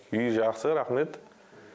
үй жақсы рахмет